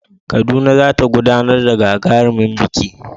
Kaduna za ta gudanar da gagarumin biki